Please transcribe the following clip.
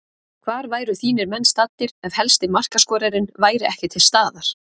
Hvar væru þínir menn staddir ef helsti markaskorarinn væri ekki til staðar?